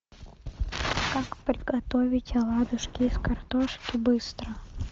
как приготовить оладушки из картошки быстро